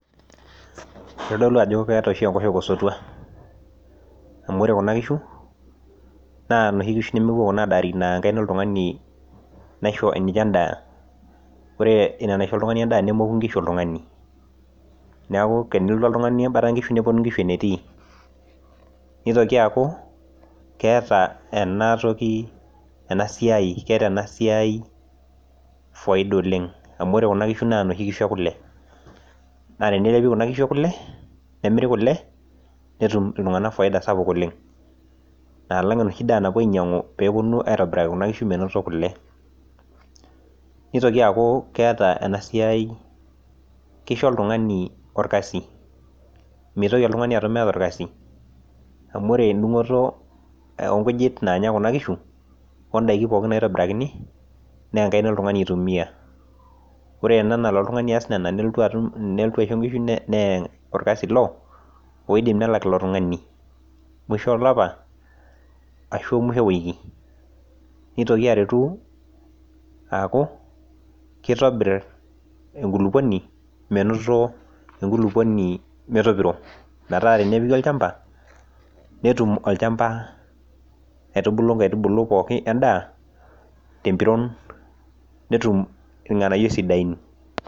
Itodolu ajo keeta oshi enkoshoke osotua, amu ore Kuna kishu, naa inoshi kishu nemepuo Kuna adaari, naa enkaina oltungani naisho ninye edaa. ore Ina naisho oltungani edaa, nemoki nkishu oltungani, neeku tenelotu oltungani ebata nkishu, nepuonu nkishu enetii. nitoki aaku keeta ena toki ena siai faida oleng. amu ore Kuna kishu naa noshi kishu ekule. naa teneremi Kuna kishu ekule, netumi kule, netum iltunganak faida sapuk oleng alang